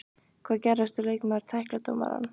Hvað gerist ef leikmaður tæklar dómarann?